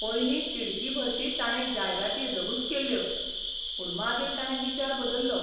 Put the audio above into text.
पयलीं तिडकीभरशीं ताणें जायराती रहूच केल्ल्यो, पूण मागीर ताणें विचार बदल्लो.